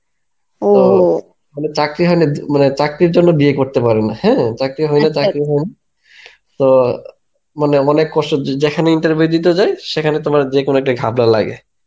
মানে চাকরি হয়না মানে চাকরির জন্যে বিয়ে করতে পারে না হ্যাঁ চাকরি হয়না চাকরি হয়না তো মানে অনেক কষ্ঠে যেখানে interview দিতে যায় সেখানে তোমার যেকোনো একটা ঘাবলা লাগে.